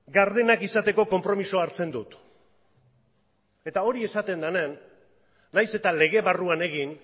gardenak izateko konpromisoa hartzen dut eta hori esaten denean nahiz eta lege barruan egin